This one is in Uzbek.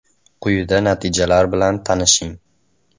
Quyida natijalar bilan tanishing.